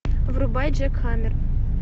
врубай джекхаммер